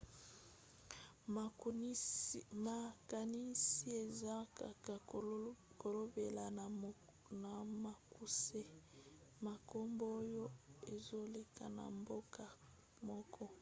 makanisi eza kaka kolobela na mokuse makambo oyo ezoleka na mboka moko